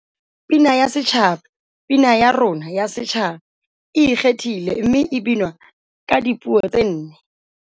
Pina ya Setjhaba Pina ya rona ya Setjhaba e ikgethile mme e binwa ka dipuo tse nne.